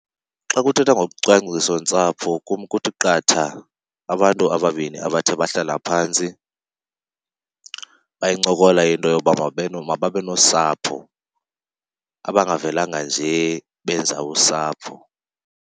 Xa kuthethwa ngocwangcisontsapho kum kuthi qatha abantu ababini abathe bahlala phantsi bayincokola into yoba mababe nosapho, abangavelanga nje benza usapho.